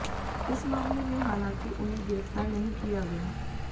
इस मामले में हालांकि उन्हें गिरफ्तार नहीं किया गया